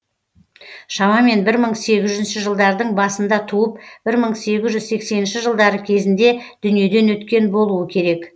шамамен бір мың сегіз жүз жылдардың басында туып бір мың сегіз жүз сексенінші жылдары кезінде дүниеден өткен болуы керек